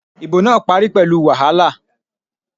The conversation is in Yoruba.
Ìbò náà parí pẹ̀lú wàhálà